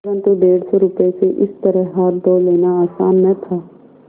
परन्तु डेढ़ सौ रुपये से इस तरह हाथ धो लेना आसान न था